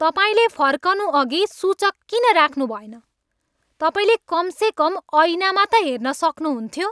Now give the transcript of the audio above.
तपाईँले फर्कनुअघि सूचक किन राख्नुभएन? तपाईँले कमसेकम ऐनामा त हेर्न सक्नुहुन्थ्यो।